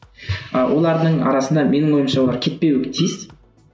ы олардың арасында менің ойымша олар кетпеуі тиіс